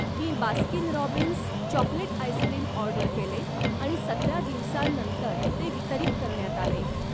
मी Baskin Robbins chocolate ice cream order केले आणि सतरा दिवसांनंतर ते वितरित करण्यात आले.